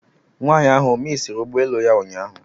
Nwaanyị ahụ ọ misiri ụgbọ elu ya ụnyaahụ?